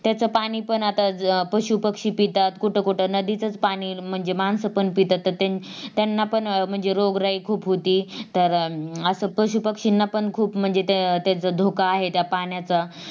त्याचा पाणी पण आता पशु पक्षी पितात कुठं कुठं नदीचच पाणी म्हणजे मानसपण पितात तर त्यांना पण म्हणजे रोगराई खूप होती तर अं अस पशु पक्ष्यांना खूप म्हणजे त्यांचा धोका आहे त्या पाण्याचा